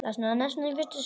Ekkert hefði gerst.